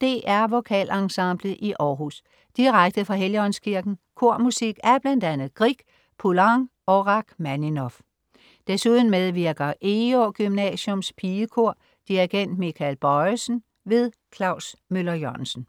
DR VokalEnsemblet i Århus. Direkte fra Helligåndskirken. Kormusik af bl.a. Grieg, Poulenc og Rakhmaninov. Desuden medvirker Egå Gymnasiums Pigekor. Dirigent: Michael Bojesen. Klaus Møller-Jørgensen